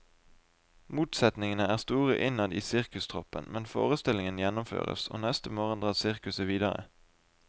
Motsetningene er store innad i sirkustruppen, men forestillingen gjennomføres, og neste morgen drar sirkuset videre.